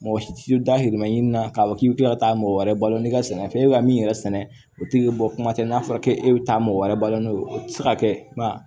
Mɔgɔ si tɛ da hirimɛɲini na k'a fɔ k'i bɛ kila ka taa mɔgɔ wɛrɛ balo n'i ka sɛnɛfɛn e ka min yɛrɛ sɛnɛ o tɛ bɔ kuma tɛ n'a fɔra k'e bɛ taa mɔgɔ wɛrɛ balo n'o ye o tɛ se ka kɛ ba